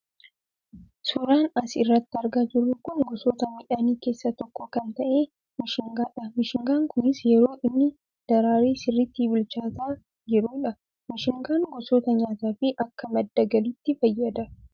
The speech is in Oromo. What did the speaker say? Suuraan as irratti argaa jirru kun gosoota midhaanii keessaa tokko kan ta'e mishingaa dha. Mishingaan kunis yeroo inni daraaree sirriitti bilchaataa jiruu dha. Mishingaan gosoota nyaataa fi akka madda galiitti fayyada.